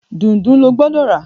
Dùndú ló gbódò rà!